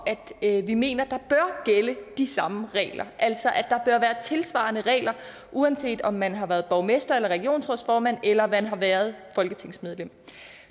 at vi mener der bør gælde de samme regler altså at være tilsvarende regler uanset om man har været borgmester eller regionsrådsformand eller man har været folketingsmedlem